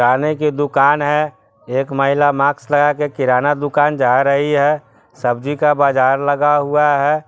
किराने की दुकान है एक महिला मास्क लगाके किराने दुकान जा रही है सब्ज़ी का बाज़ार लगा हुआ है।